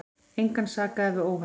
Engan sakaði við óhappið.